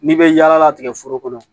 N'i bɛ yaala tigɛ foro kɔnɔ